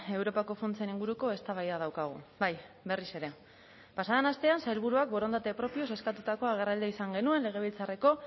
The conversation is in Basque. europako funtsen inguruko eztabaida daukagu bai berriz ere pasa den astean sailburuak borondate propioz eskatutako agerraldia izan genuen legebiltzarreko